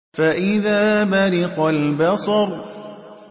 فَإِذَا بَرِقَ الْبَصَرُ